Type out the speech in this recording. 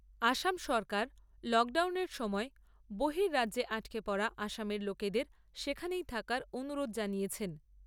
আসাম সরকার লকডাউনের সময় বহিররাজ্যে আটকে পড়া আসামের লোকেদের সেখানেই থাকার অনুরোধ জানিয়েছেন।